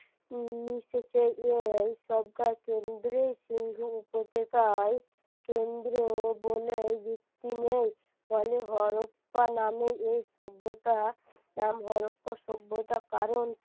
এই সিন্ধু উপতকায় কেন্দ্র বলেই ভিত্তি নেই ফলে নামে এই সভ্যতা নাম সভ্যতা কারণ